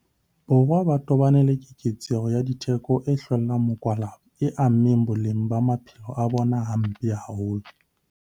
Borwa ba tobane le keketseho ya ditheko e hlweleng mokwalaba e ameng boleng ba maphelo a bona hampe haholo.